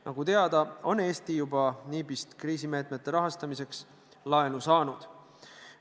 Nagu teada, on Eesti juba NIB-ist kriisimeetmete rahastamiseks laenu saanud.